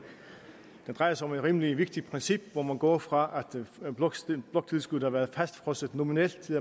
den drejer sig om et rimelig vigtigt princip hvor man går fra at bloktilskuddet har været fastfrosset nominelt til